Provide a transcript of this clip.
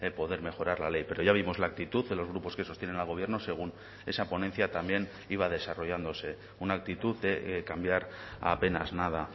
poder mejorar la ley pero ya vimos la actitud de los grupos que sostienen al gobierno según esa ponencia también iba desarrollándose una actitud de cambiar apenas nada